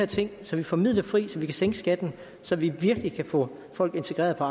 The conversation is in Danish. ting så vi får midler fri til at sænke skatten så vi virkelig kan få folk integreret på